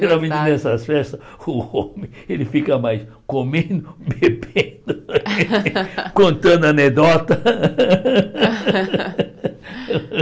Geralmente nessas festas, o homem ele fica mais comendo, bebendo, contando anedota.